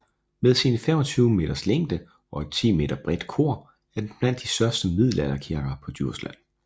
Med sine 25 meters længde og et 10 meter bredt kor er den blandt de største middelalderkirker på Djursland